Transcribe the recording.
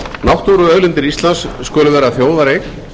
náttúruauðlindir íslands skulu vera þjóðareign